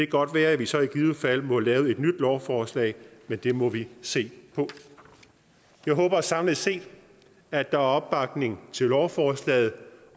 godt være at vi så i givet fald må lave et nyt lovforslag men det må vi se på jeg håber samlet set at der er opbakning til lovforslaget